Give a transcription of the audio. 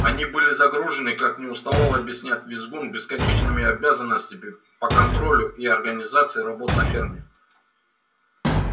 они были загружены как не уставал объяснять визгун бесконечными обязанностями по контролю и организации работ на ферме